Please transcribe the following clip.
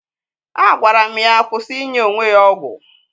Agwara m ya kwụsị inye onwe ya ọgwụ